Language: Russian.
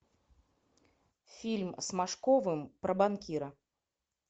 фильм с машковым про банкира